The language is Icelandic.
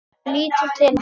Lítur til hans.